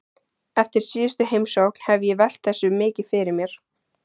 Eftir síðustu heimsókn hef ég velt þessu mikið fyrir mér.